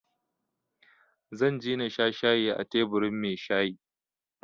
Zan je na sha shayi a teburin mai shayi